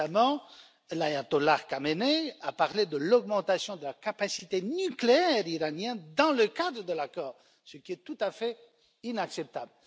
Récemment, l'ayatollah Khamenei a parlé de l'augmentation de la capacité nucléaire iranienne dans le cadre de l'accord, ce qui est tout à fait inacceptable.